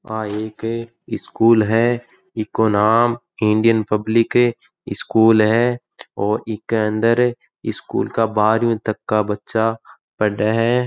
आ एक स्कूल है इको नाम इंडियन पब्लिक स्कूल है और इके अंदर सकूल का बारवी तक का बच्चा पढ़ है।